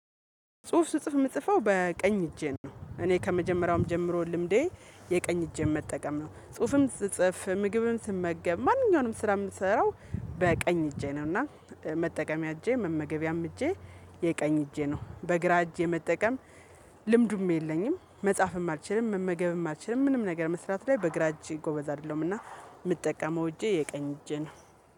ጽሁፍ ስጽፍ የምጽፈው በቀኝ እጄ ነው። እኔ ከመጀመሪያውም ጀምሮ ልምዴ የቀኝ እጄን መጠቀም ነው። ጽሁፍም ስጽፍ ምግብም ስመገብ ማንኛውንም ስራ የምሰራው በቀኝ እጄ ነው። እና መጠቀሚያ እጄ መመገቢያም እጄ የቀኝ እጄ ነው። በግራ እጄ መጠቀም። ልምዱም የለኝም መጻፍም አልችልም መመገብም አልችልም ምንም ነገር መስራት ላይ በግራ እጅ ጎበዝ አይደለሁም። እና የምጠቀመው እጄ የቀኝ እጄ ነው